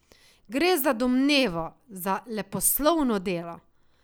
Gre za domnevo, za leposlovno delo.